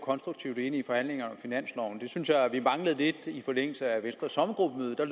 konstruktivt ind i forhandlingerne om finansloven det synes jeg at vi manglede lidt i forlængelse af venstres sommergruppemøde der